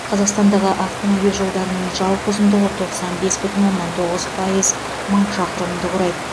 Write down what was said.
қазақстандағы автомобиль жолдарының жалпы ұзындығы тоқсан бес бүтін оннан тоғыз пайыз мың шақырымды құрайды